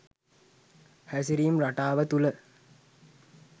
හැසිරීම් රටාව තුළ